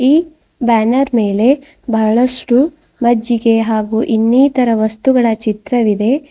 ಈ ಬ್ಯಾನರ್ ಮೇಲೆ ಬಹಳಷ್ಟು ಮಜ್ಜಿಗೆ ಹಾಗೂ ಇನ್ನಿತರ ವಸ್ತುಗಳ ಚಿತ್ರವಿದೆ.